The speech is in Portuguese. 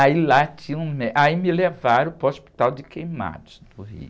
Aí lá tinha um mé, aí me levaram para o hospital de queimados do Rio.